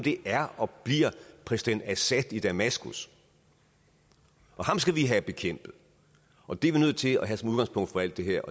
er og bliver præsident assad i damaskus og ham skal vi have bekæmpet og det er vi nødt til at have som udgangspunkt for alt det her